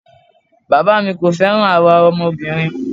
Bàbáà mi kò fẹ́ràn àwa ọmọbìnrin.